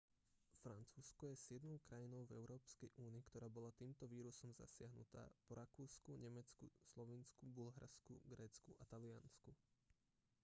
francúzsko je siedmou krajinou v európskej únii ktorá bola týmto vírusom zasiahnutá po rakúsku nemecku slovinsku bulharsku grécku a taliansku